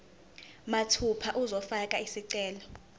mathupha uzofaka isicelo